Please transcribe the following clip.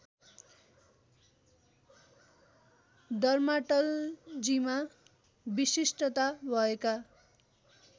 डर्माटालजीमा विशिष्टता भएका